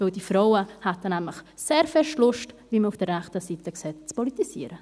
Denn die Frauen hätten nämlich, wie man auf der rechten Seite sieht, sehrgrosseLustzupolitisieren